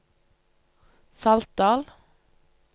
Saltdal